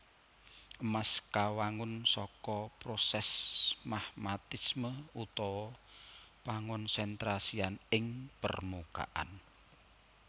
Emas kawangun saka prosès magmatisme utawa pangonsentrasian ing permukaan